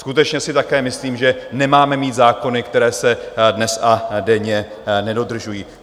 Skutečně si také myslím, že nemáme mít zákony, které se dnes a denně nedodržují.